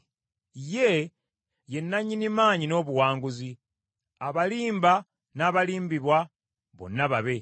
Ye, ye nannyini maanyi n’obuwanguzi, abalimba n’abalimbibwa bonna babe.